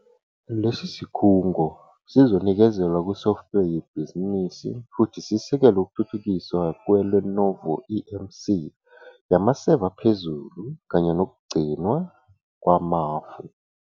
Lesi sikhungo sizonikezelwa kusoftware yebhizinisi futhi sisekele ukuthuthukiswa kweLenovoEMC yamaseva aphezulu kanye nokugcinwa kwamafu.